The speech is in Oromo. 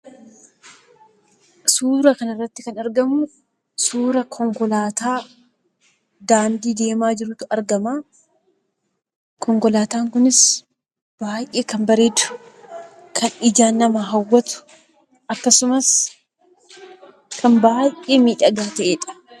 Suura kanarratti kan argamu suura konkolaataa daandii deemaa jirutu argama. Konkolaataan kunis baay'ee kan bareedu, kan ijaan nama hawwatu, akkasumas kan baay'ee miidhagaa ta'edha.